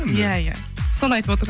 иә иә соны айтып